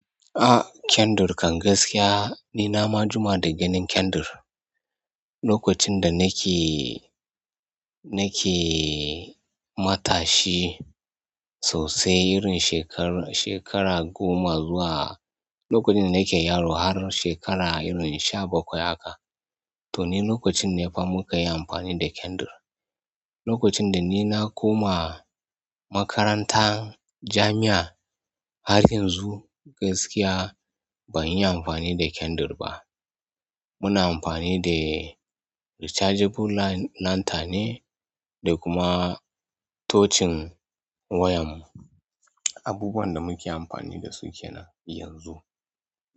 Ah, candle kan gaskiya ni na ma jima da ganin candle. Lokacin da nake, nake matashi sosai, irin shekara shekara goma zuwa lokacin da nake yaro har shekara irin sha bakwai haka, to ni lokacin ne fa munkayi amfani da candle. Lokacin da ni na koma makaranta jami'a, har yanzu gaskiya ban yi amfani da candle ba. Muna amfani da rechargeable lanter ne da kuma touching wayan mu. Abubuwan da muke amfani da su kenan yanzu.